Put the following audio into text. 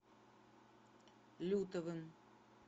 лютовым